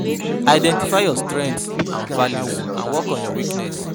Identify your strenghts and values and work on your weaknesses